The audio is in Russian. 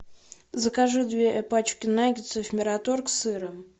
закажи две пачки наггетсов мираторг с сыром